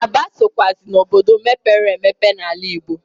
Aba sokwụazi n'obodo mepere emepe n'ala Igbo.